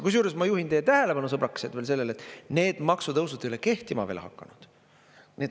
Kusjuures, ma juhin teie tähelepanu, sõbrakesed, veel sellele, et need maksutõusud ei ole kehtima veel hakanud.